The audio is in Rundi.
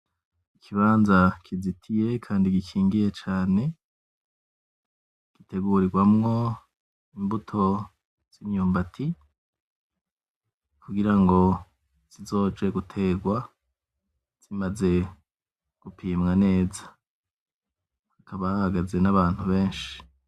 Ikibanza kizitiye kandi gikingiye cane, gitegurigwamwo imbuto z'imyumbati kugira ngo zizoje gutegwa zimaze gupimwa neza, hakaba hahagaze n'abantu benshi.